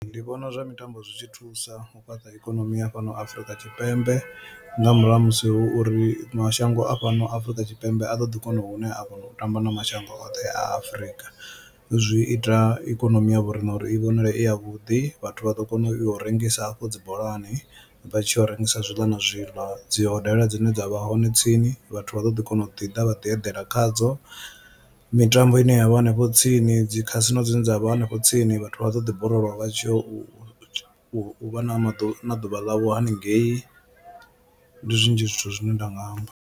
Ndi vhona zwa mitambo zwi tshi thusa u fhaṱa ikonomi ya fhano Afrika Tshipembe nga murahu ha musi hu uri mashango a fhano Afrika Tshipembe a ḓo ḓi kona hune a kona u tamba na mashango oṱhe Afrika zwi ita ikonomi ya vhorine uri i vhonale i ya vhuḓi vhathu vha ḓo kona u yo u rengisa afho dzi bolani vha tshi ya u rengisa zwiḽa na zwiḽa. Dzi hodela dzine dza vha hone tsini vhathu vha ḓo ḓi kona u ḓi ḓa vha ḓi eḓela khadzo, mitambo ine yavha hanefho tsini, dzi khasino dzine dza vha hanefho tsini vhathu vha ḓo ḓi borolowa vha tshi yo u u vha na maḓuvha na ḓuvha ḽavho haningei ndi zwinzhi zwithu zwine nda nga amba.